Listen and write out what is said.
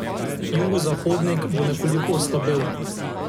Jugozahodnik bo nekoliko oslabel.